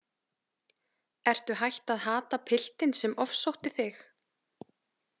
Ertu hætt að hata piltinn sem ofsótti þig?